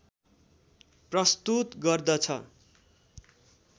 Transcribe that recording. प्रस्तुत गर्दछ